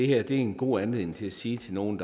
her er en god anledning til at sige til nogen